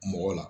Mɔgɔ la